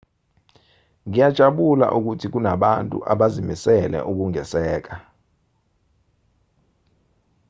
ngiyajabula ukuthi kunabantu abazimisele ukungisekela